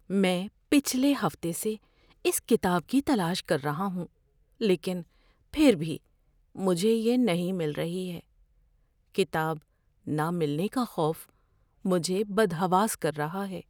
میں پچھلے ہفتے سے اس کتاب کی تلاش کر رہا ہوں لیکن پھر بھی مجھے یہ نہیں مل رہی ہے۔ کتاب نہ ملنے کا خوف مجھے بدحواس کر رہا ہے۔